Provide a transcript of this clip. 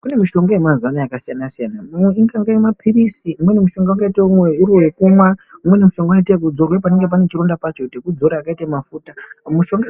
Kune mishonga yemazuva yakasiyana siyana Imweni mishonga yakaita mapirizi imweni mishonga inoita yekumwa imweni mishonga inoitwa yekuzora panenge pane chiRonda pacho sekudzora semafuta